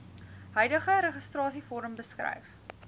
huidige registrasievorm beskryf